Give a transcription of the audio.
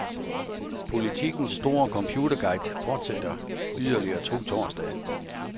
Politikens store computerguide fortsætter yderligere to torsdage.